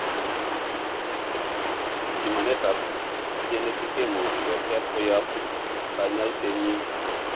Pimanetap genetickimuche ketep koyap kanyaisenyin.